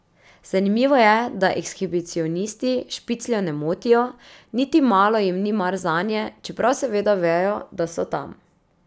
Zanimivo je, da ekshibicionisti špicljev ne motijo, niti malo jim ni mar zanje, čeprav seveda vejo, da so tam.